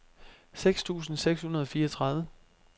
seks tusind seks hundrede og fireogtredive